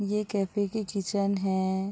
ये कैफ़े की किचन है।